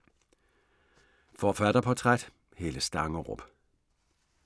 Forfatterportræt: Helle Stangerup